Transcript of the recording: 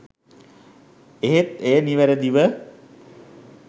එහෙත් එය නිවරදිව